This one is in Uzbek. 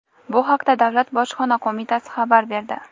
Bu haqda Davlat bojxona qo‘mitasi xabar berdi.